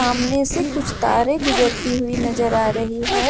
अमने से कुछ तारे गुजरती हुई नजर आ रही है।